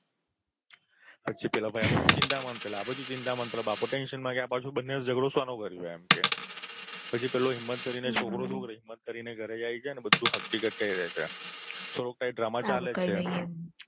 પછી પેલો ભઈ અહીં ચિંતામાં અને પેલા આબાજુ ચિંતામાં અન પેલો બાપો tension માં પાછો આ બંનેએ ઝગડો શોનો કર્યો એમ કે પછી પેલો હિમ્મત કરીને છોકરો શું કરે છે હિમ્મત કરીને ઘરે જાય છે બધી હકીકત કઈ દે છે તો પછી drama ચાલે છે એમ